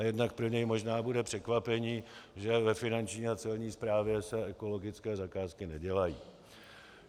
A jednak pro něj možná bude překvapením, že ve finanční a celní správě se ekologické zakázky nedělají.